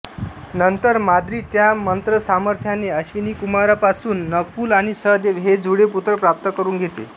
नंतर माद्री त्या मंत्रसामर्थ्याने अश्विनीकुमारांपासून नकुल आणि सहदेव हे जुळे पुत्र प्राप्त करून घेते